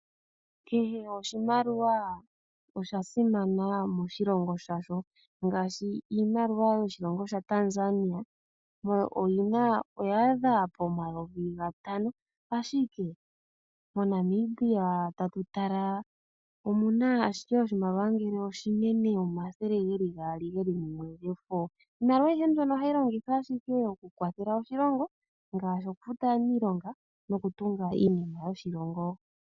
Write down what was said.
Kehe oshimaliwa osha simana moshilongo shasho, ngaashi iimaliwa yoshilongo shaTanzania oya adha pomayovi gatano, ashike moNamibia oshimaliwa oshinene shefo omathele ge li gaali. Iimaliwa ayihe mbyono ohayi longithwa owala okukwathela oshilongo ngaashi okufuta aaniilonga nokutunga iinima yoshilongo.